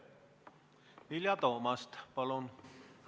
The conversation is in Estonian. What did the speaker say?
Vilja Toomast, palun!